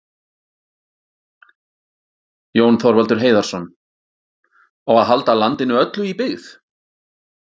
Jón Þorvaldur Heiðarsson,: Á að halda landinu öllu í byggð?